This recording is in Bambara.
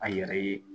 A yɛrɛ ye